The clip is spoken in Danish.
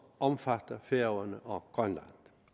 omfatter færøerne og grønland